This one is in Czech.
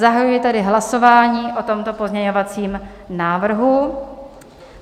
Zahajuji tedy hlasování o tomto pozměňovacím návrhu.